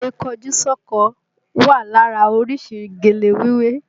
Gèlè kọjú sọ́kọ wà lára orísìí gèlè wíwé